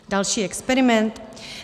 Další experiment?